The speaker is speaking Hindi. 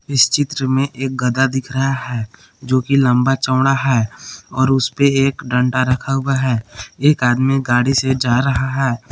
इस चित्र मे एक गदा दिख रहा है जो कि लंबा चौड़ा है और उसपे एक डंडा रखा हुआ है एक आदमी गाड़ी से जा रहा है।